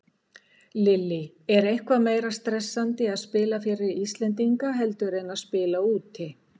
Lillý: Er eitthvað meira stressandi að spila fyrir Íslendinga heldur en að spila úti?